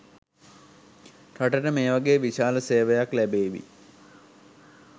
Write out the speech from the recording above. රටට මේ වගේ විශාල සේවයක් ලැබේවි